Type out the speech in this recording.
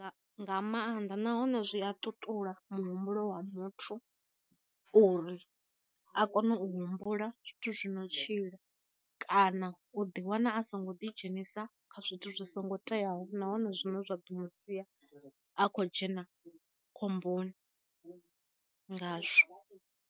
Nga maanḓa nahone zwi a ṱuṱula muhumbulo wa muthu, uri a kone u humbula zwithu zwi no tshila kana u ḓi wana a songo ḓi dzhenisa kha zwithu zwi songo teaho na hone zwine zwa ḓo musiya a kho dzhena khomboni ngazwo.